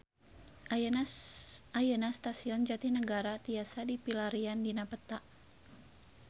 Ayeuna Stasiun Jatinegara tiasa dipilarian dina peta